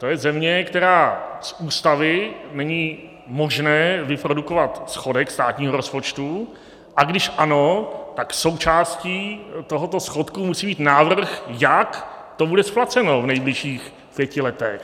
To je země, kde z ústavy není možné vyprodukovat schodek státního rozpočtu, a když ano, tak součástí tohoto schodku musí být návrh, jak to bude splaceno v nejbližších pěti letech.